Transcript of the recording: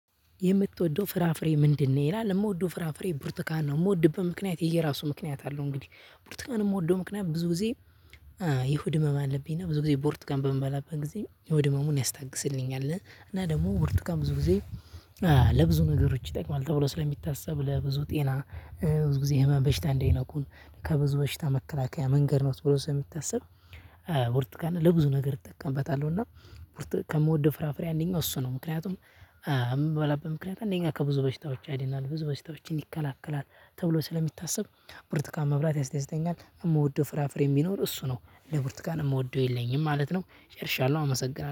የምትወደው ፍራፍሬ ምንድነው? ይላል የምወደው ፍራፍሬ ብርቱካን ነው የምወድበት ምክንያት የየራሱ ምክንያት አለው። እንግዲህ ቡርቱካን የምወደው ምክንያት ብዙ ጊዜ የሆድ ህመም አለብኝ እና ብዙ ጊዜ ብርቱካን በምበላበት ጊዜ የሆድ ህመሙን ያስታግስልኛል። እና ደግሞ ብርቱካን ብዙ ጊዜ። ለብዙ ነገሮች ይጠቅማል ተብሎ ስለሚታሰብ ለብዙ ጤና። ብዙ ጊዜ ህመም በሽታ እንዳይነኩን ከብዙ በሽታ መከላከያ መንገድ ነው። ተብሎ ስለሚታስብ ብርቱካን ለብዙ ነገር እጠቀምበታለሁ። እና ከምወደው ፍራፍሬ አንደኛው እሱ ነው። ምክንያቱም እምበላበት ምክንያት እንደኛ ከብዙ በሽታዎች ያድናል ብዙ በሽታዎችን ይከላከላል። ተብሎ ስለሚታሰብ ብርቱካን መብላት ያስደስተኛል። እምወደው ፍራፍሬ ቢኖር እሱ ነው እንደ ብርቱካን የምወደው የለኝም ማለት ነው። ጨርሻለሁ አመሰግናለሁ